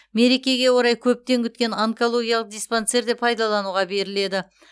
мерекеге орай көптен күткен онкологиялық диспансер де пайдалануға беріледі